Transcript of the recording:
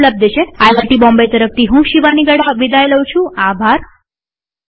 IIT Bombay તરફથી હું શિવાની ગડા વિદાય લઉં છુંટ્યુ્ટોરીઅલમાં ભાગ લેવા આભાર